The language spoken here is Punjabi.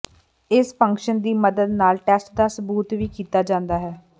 ਇਸ ਫੰਕਸ਼ਨ ਦੀ ਮਦਦ ਨਾਲ ਟੈਸਟ ਦਾ ਸਬੂਤ ਵੀ ਕੀਤਾ ਜਾਂਦਾ ਹੈ